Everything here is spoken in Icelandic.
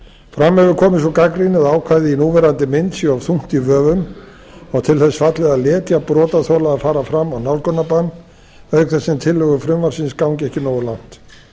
fram hefur komið sú gagnrýni að ákvæðið í núverandi mynd sé of þungt í vöfum og til þess fallið að letja brotaþola að fara fram á nálgunarbann auk þess sem tillögur frumvarpsins gangi ekki nógu langt